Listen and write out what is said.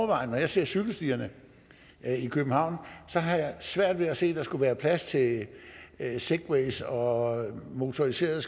når jeg ser cykelstierne i københavn har jeg svært ved at se at der skulle være plads til segways og motoriserede